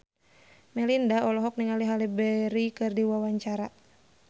Melinda olohok ningali Halle Berry keur diwawancara